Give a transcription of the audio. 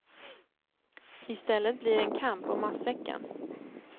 I stället blir det en kamp om matsäcken.